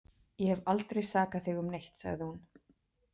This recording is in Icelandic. Ég hef aldrei sakað þig um neitt, sagði hún.